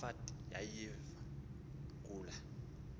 kamoffat yayiviwa kula